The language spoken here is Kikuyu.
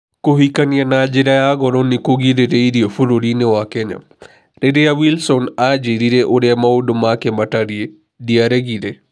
Kũhikania na njĩra ya goro nĩ kũgirĩrĩirio bũrũri-inĩ wa Kenya "Rĩrĩa Wilson aanjĩrire ũrĩa maũndũ make matariĩ, ndiaregire.